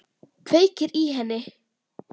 Kveikir í henni.